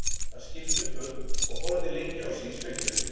Hann skipti um föt og horfði lengi á sig í speglinum.